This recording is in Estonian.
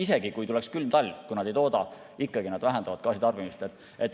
Isegi kui tuleks külm talv, kui nad ei tooda, siis nad ikkagi vähendavad gaasitarbimist.